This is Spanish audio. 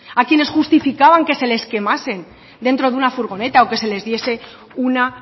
a quienes justificaban que se les quemasen dentro de una furgoneta o que se les diese una